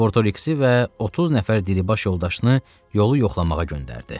Sonra Botoriksi və 30 nəfər dilibaş yoldaşını yolu yoxlamağa göndərdi.